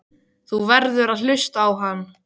Þú verður að hlusta á hann.